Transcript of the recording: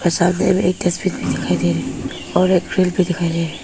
सामने में एक डस्टबिन भी दिखाई दे रही है --